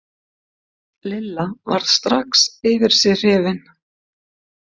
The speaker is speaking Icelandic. Lilla varð strax yfir sig hrifin.